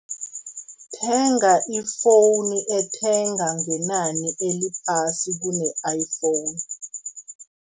Thenga i-phone ethenga ngenani eliphasi kune iPhone.